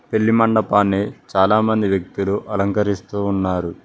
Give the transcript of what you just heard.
పెళ్లి మండపాన్ని చాలా మంది వ్యక్తులు అలంకరిస్తూ ఉన్నారు.